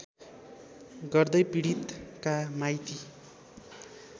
गर्दै पीडितका माइती